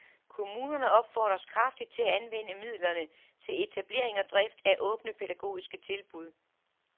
Kommunerne opfordres kraftigt til at anvende midlerne til etablering og drift af åbne pædagogiske tilbud.